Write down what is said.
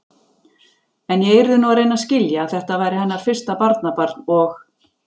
En ég yrði nú að reyna að skilja, að þetta væri hennar fyrsta barnabarn og.